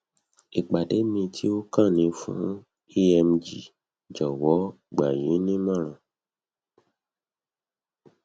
ìpàdé mi tó kàn ni fún emg jọwọ gbà yín nímọràn